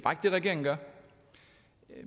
regeringen gør